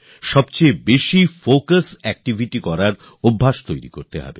অধিকতম focus activity করার স্বভাব গড়তে হবে